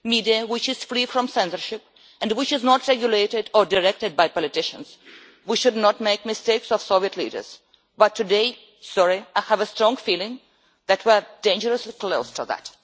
A media which is free from censorship and which is not regulated or directed by politicians. We should not make the mistakes of Soviet leaders but today, sorry, I have a strong feeling that we're dangerously close to that.